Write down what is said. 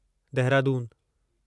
देहरादूनु